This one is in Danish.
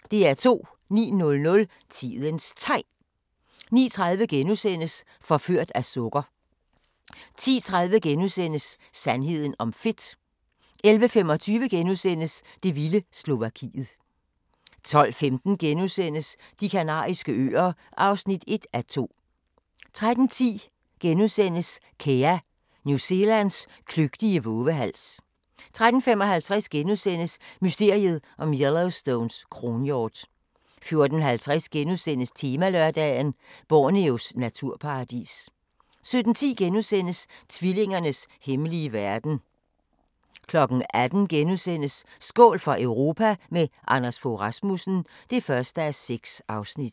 09:00: Tidens Tegn 09:30: Forført af sukker * 10:30: Sandheden om fedt * 11:25: Det vilde Slovakiet * 12:15: De Kanariske Øer (1:2)* 13:10: Kea – New Zealands kløgtige vovehals * 13:55: Mysteriet om Yellowstones kronhjort * 14:50: Temalørdag: Borneos naturparadis * 17:10: Tvillingernes hemmelige verden * 18:00: Skål for Europa – med Anders Fogh Rasmussen (1:6)*